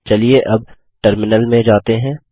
चलिए अब टर्मिनल में जाते हैं